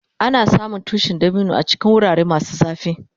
Ana samun tushin dabino a cikin wurare masu zafi.